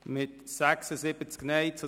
Abstimmung (Antrag Gasser [Bévilard, PSA])